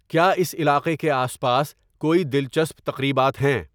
کیا اس علاقے کے آس پاس کوئی دلچسپ تقریبات ہیں